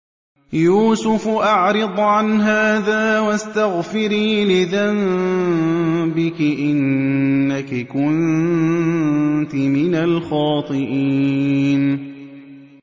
يُوسُفُ أَعْرِضْ عَنْ هَٰذَا ۚ وَاسْتَغْفِرِي لِذَنبِكِ ۖ إِنَّكِ كُنتِ مِنَ الْخَاطِئِينَ